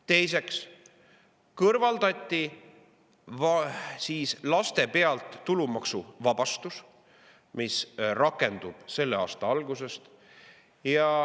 Teiseks kõrvaldati laste pealt saadav tulumaksuvabastus – see muudatus rakendub selle aasta algusest.